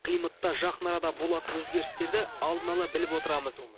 климатта жақын арада болатын өзгерістерді алдын ала біліп отырамыз